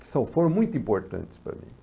que são, foram muito importantes para mim.